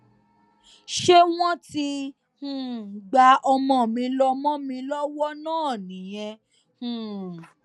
ṣé wọn ti um gba ọmọ mi lọ mọ mi lọwọ náà nìyẹn um